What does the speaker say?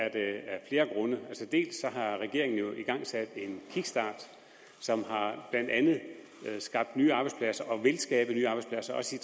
af flere grunde dels har regeringen jo igangsat en kickstart som blandt andet har skabt nye arbejdspladser og vil skabe nye arbejdspladser også i